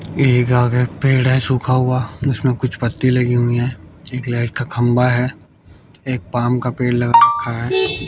एक आगे पेड़ है सुखा हुआ उसमें कुछ पत्ती लगी हुईं हैं एक लाइट का खंभा है एक पाम का पेड़ लगा रखा है।